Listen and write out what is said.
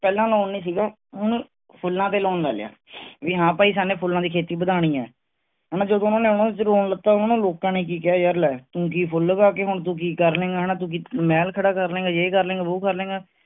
ਪਹਿਲਾਂ loan ਨਹੀਂ ਸੀਗਾ, ਹੁਣ ਫੁਲਾਂ ਤੇ loan ਲੈ ਲਿਆ, ਵੀ ਹਾਂ ਭਾਈ ਸਾਨੂ ਫੁਲਾਂ ਦੀ ਖੇਤੀ ਵਧਾਉਣੀ ਹੈ. ਲੱਥਾ ਲੋਕਾਂ ਨੇ ਕਿ ਕਿਹਾ ਯਾਰ ਲੈ ਤੂੰ ਕਿ ਫੁੱਲ ਉਗਾ ਕੇ ਹੁਣ ਤੂੰ ਕਿ ਕਰ ਲਏਂਗਾ ਹਣਾ, ਕਿ ਮਹਿਲ ਖੜਾ ਕਰ ਲੈਂਗਾ, ਜੇ ਕਰ ਲੇ ਗਾ ਵੋ ਕਰ ਲੇਗਾ